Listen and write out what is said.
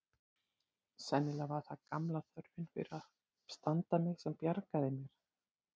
Sennilega var það gamla þörfin fyrir að standa mig sem bjargaði mér.